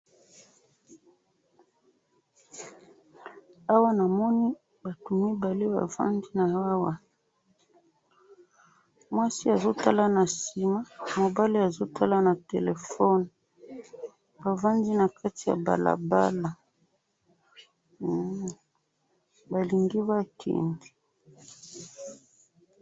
awa na moni batu mibale ba vandi na awa mwasi azo tala na sima mobali azo tala na telephone ba vandi na kati ya balabala ba lingi ba kende